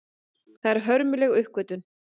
Það er hörmuleg uppgötvun.